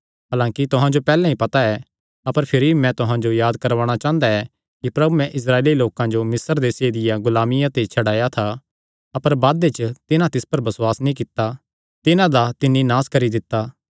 हलांकि तुहां जो पैहल्ले ते ई पता ऐ अपर फिरी भी मैं तुहां जो याद करवाणा चांह़दा ऐ कि प्रभुयैं इस्राएली लोकां जो मिस्र देसे दिया गुलामिया ते छड्डाया था अपर बादे च जिन्हां तिस पर बसुआस नीं कित्ता तिन्हां दा तिन्नी नास करी दित्ता